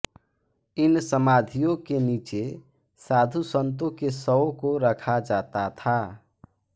इन समाधियों के नीचे साधुसंतों के शवों को रखा जाता था